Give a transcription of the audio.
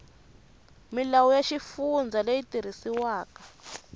milawu ya xifundza leyi tirhisiwaka